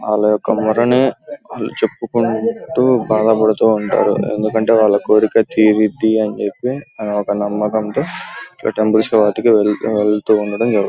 వాల యొక్క మొరని చెప్పుకుంటూ బాధ పడుతూ ఉంటారు ఎందుకంటే వాళ్ళ యొక్క కోరిక తీరిద్దీ అని చెప్పి ఒక నమ్మకం తో టెంప్లేస్ కి వాటిలకి వెళ్ళడం జరుగుతుంది.